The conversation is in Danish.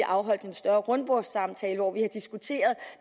afholdt en større rundbordssamtale hvor vi har diskuteret